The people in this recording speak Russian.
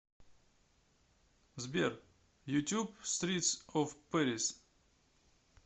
сбер ютюб стритс оф пэрис